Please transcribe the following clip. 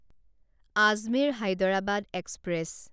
Ajmer Hyderabad express